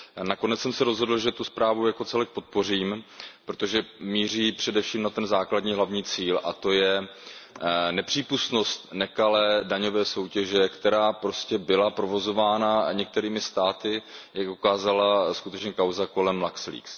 Nakonec jsem se rozhodl, že zprávu jako celek podpořím, protože míří především na ten základní hlavní cíl, a to je nepřípustnost nekalé daňové soutěže, která prostě byla provozována některými státy, jak ukázala skutečně kauza kolem Luxleaks.